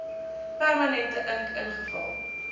permanente ink ingevul